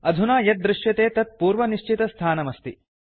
अधुना यद् दृश्यते तत् पूर्वनिश्चितस्थानमस्ति